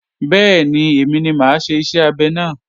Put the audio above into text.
Bẹ́ẹ̀ni, èmi ni mà á ṣe iṣẹ́ abẹ náà